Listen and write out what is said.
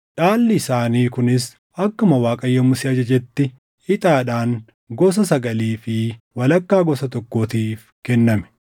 Dhaalli isaanii kunis akkuma Waaqayyo Musee ajajetti ixaadhaan gosa sagalii fi walakkaa gosa tokkootiif kenname.